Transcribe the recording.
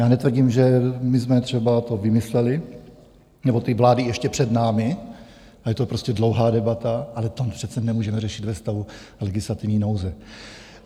Já netvrdím, že my jsme třeba to vymysleli, nebo ty vlády ještě před námi, a je to prostě dlouhá debata, ale to přece nemůžeme řešit ve stavu legislativní nouze.